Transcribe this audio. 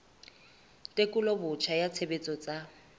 tekolo botjha ya tshebetso tsa